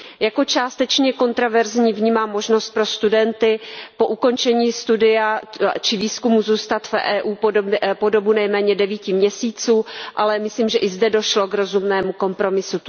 Jako částečně kontroverzní vnímám možnost pro studenty zůstat po ukončení studia či výzkumu v Evropské unii po dobu nejméně devíti měsíců, ale myslím, že i zde došlo k rozumnému kompromisu.